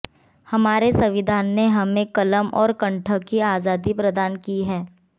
हमारे संविधान ने हमें कलम और कंठ की आजादी प्रदान की है